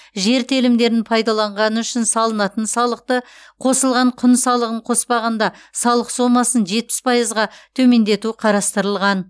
жер телімдерін пайдаланғаны үшін салынатын салықты қосылған құн салығын қоспағанда салық сомасын жетпіс пайызға төмендету қарастырылған